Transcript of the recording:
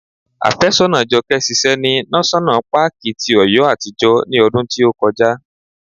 Afésọ́nàa Jọkẹ́ ṣiṣẹ́ ní náṣọ́nà paàkì ti Ọ̀yọ́ àtijọ́ ní ọdún tí ó kọjá